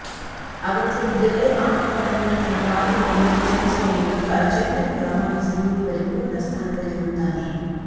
ಅಗತ್ಯವಿದ್ದರೆ ಆಟಗಾರನು ತನ್ನ ಪಾದಗಳನ್ನು ಚಲಿಸುವ ಮೂಲಕ ಚೆಂಡನ್ನು ರವಾನಿಸಲು ಪರಿಪೂರ್ಣ ಸ್ಥಾನದಲ್ಲಿರುತ್ತಾನೆ